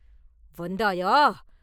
“வந்தாயா?